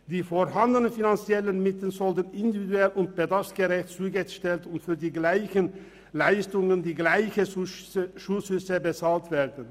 Die vorhandenen finanziellen Mittel sollten individuell und bedarfsgerecht zugeteilt und für die gleichen Leistungen die gleichen Zuschüsse bezahlt werden.